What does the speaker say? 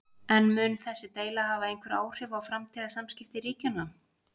En mun þessi deila hafa einhver áhrif á framtíðar samskipti ríkjanna?